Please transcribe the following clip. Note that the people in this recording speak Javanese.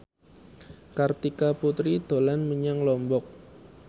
Kartika Putri dolan menyang Lombok